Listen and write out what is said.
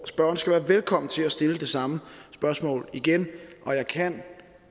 spørgeren skal være velkommen til at stille det samme spørgsmål igen og jeg kan